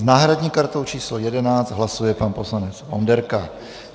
S náhradní kartou číslo 11 hlasuje pan poslanec Onderka.